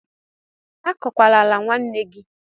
Azọkwala ala nwanna gị!